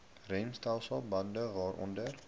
remstelsel bande waaronder